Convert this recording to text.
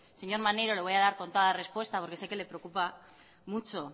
señor maneiro le voy a dar con toda respuesta porque sé que le preocupa mucho